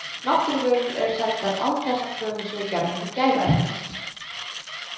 Náttúruvörur eru seldar án þess að kröfur séu gerðar til gæðaeftirlits.